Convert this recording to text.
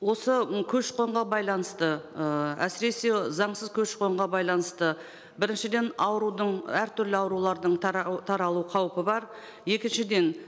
осы м көші қонға байланысты ыыы әсіресе заңсыз көші қонға байланысты біріншіден аурудың әртүрлі аурулардың таралу қаупі бар екіншіден